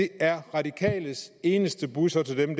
er radikales eneste budskab til dem